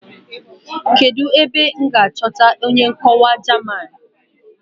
Kedụ ebe m ga-achọta onye nkọwa German?